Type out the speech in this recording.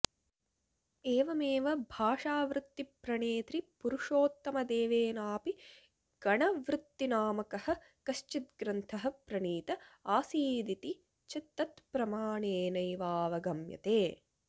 एवमेव भाषावृत्तिप्रणेत्री पुरुषोत्तमदेवेनापि गणवृत्तिनामकः कश्विद्ग्रन्थः प्रणीत आसीदिति च तत्प्रमाणेनैवावगम्यते